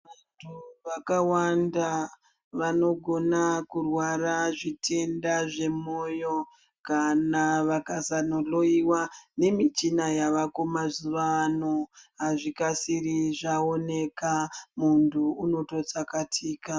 Vantu vakawanda vanogona kurwara zvitenda, kana vakasanohloyiwa nemichina yavako mazuva ano, hazvikasiri zvaoneka, muntu unototsakatika.